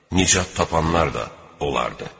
Nicat tapanlar da onlardır.